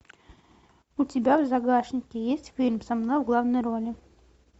у тебя в загашнике есть фильм со мной в главной роли